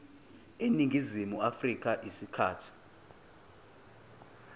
eningizimu afrika isikhathi